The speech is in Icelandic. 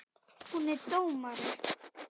Hún er dómari.